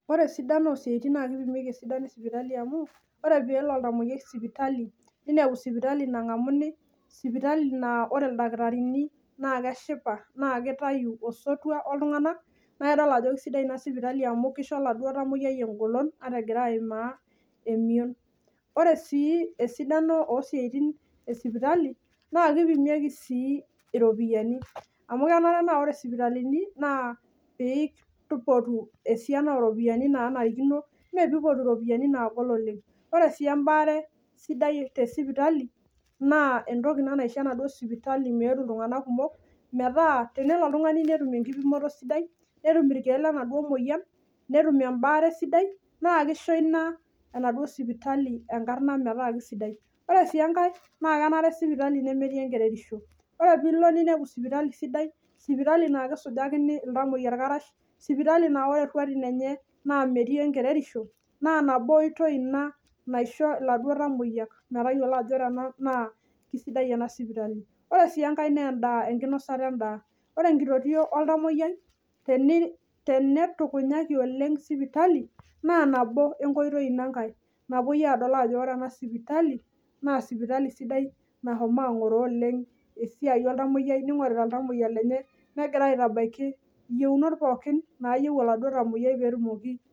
ore esidano oo siatin naa tenelo oltungani nengamuni tesidai kisidai ina tena sipitali amuu kisho oladuo tamoyiai engolon ore sii esidano oo siatin e sipitali naa kishoru metaasi esiai aasiki peeminyalaa naa iltamoyiak amu kipimi aasioki. kisidai sii tenipotu sipitali iropiani kutik naa nebakisho sii atobiraki ina naisho sipitali metubuluoleng nisho enkara sidai. meyiou sii naa kerere sipitali amuu ore ake tenaa kisidai naaentoki ina nabo naisho iltamoyiak metoduo ajo kishiu na kitodol ajo kisidai pii. Sidai sii sipitali tenaa kisho itamoyiaak endaa amu kisho ninye ingufu oo biotisho asioki